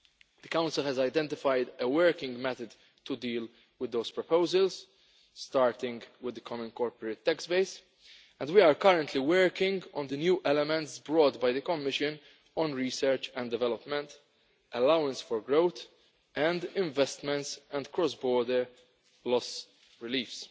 The Council has identified a working method to deal with those proposals, starting with the common corporate tax base, and we are currently working on the new elements introduced by the Commission on research and development, allowance for growth and investments and cross border loss relief.